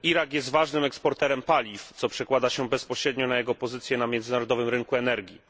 Irak jest ważnym eksporterem paliw, co przekłada się bezpośrednio na jego pozycję na międzynarodowym rynku energii.